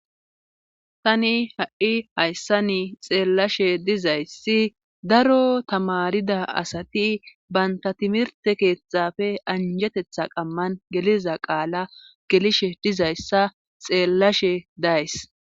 tani ha7i hayssani xeellashe dizayssi daro tamarida asati banta timirte keethafe anjetetha qamman geliza qaala gelishe dizayssa xeellashe days